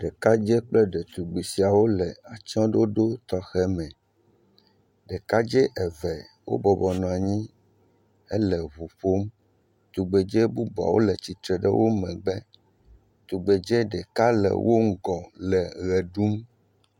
Ɖekadzɛ kple ɖetugbui siawo le atsyɔ̃ ɖoɖo tɔxɛ me. Ɖekadzɛ eve wobɔbɔnɔ anyi hele ʋu ƒom. Tugbedze bubuawo le tsitre ɖe wo megbe. Tugbedze ɖeka le wo ŋgɔ le ɣe ɖum.